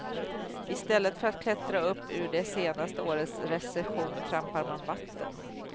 I stället för att klättra upp ur det senaste årets recession trampar man vatten.